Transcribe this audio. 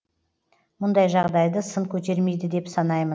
мұндай жағдайды сын көтермейді деп санаймын